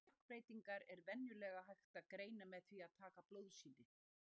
Þessar stökkbreytingar er venjulega hægt að greina með því að taka blóðsýni.